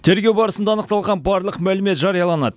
тергеу барысында анықталған барлық мәлімет жарияланады